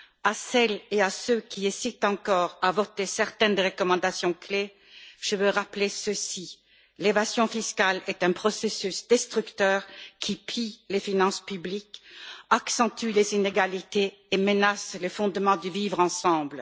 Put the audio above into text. À celles et ceux qui hésitent encore à voter certaines des recommandations clés, je veux rappeler ceci l'évasion fiscale est un processus destructeur qui pille les finances publiques, accentue les inégalités et menace les fondements du vivre ensemble.